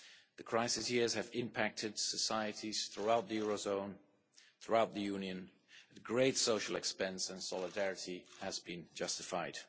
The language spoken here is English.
The crisis years have impacted societies throughout the eurozone and throughout the Union at great social expense, and solidarity has been justified.